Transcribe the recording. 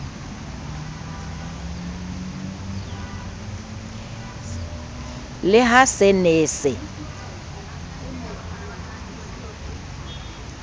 le ha se ne se